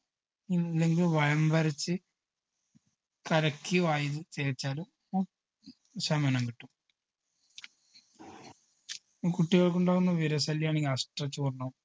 അല്ലെങ്കിൽ വയമ്പരച്ച് കലക്കി വായിൽ തേച്ചാലും ശമനം കിട്ടും കുട്ടികക്കുണ്ടാകുന്ന വിര ശല്യാണെങ്കിൽ അഷ്ടചൂർണ്ണം